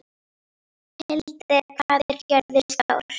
Hildir, hvað er jörðin stór?